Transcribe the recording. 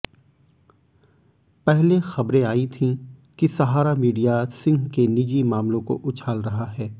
पहले खबरें आई थीं कि सहारा मीडिया सिंह के निजी मामलों को उछाल रहा है